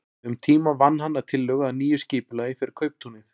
Um tíma vann hann að tillögu að nýju skipulagi fyrir kauptúnið.